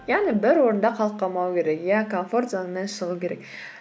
яғни бір орында қалып қалмау керек иә комфорт зонадан шығу керек